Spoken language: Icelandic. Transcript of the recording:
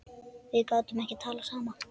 Við gátum ekki talað saman.